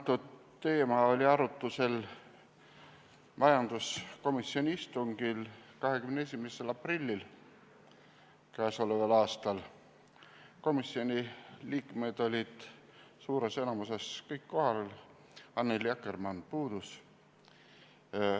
Antud teema oli arutusel majanduskomisjoni istungil 21. aprillil k.a. Komisjoni liikmed olid suures enamuses kohal, Annely Akkermann puudus.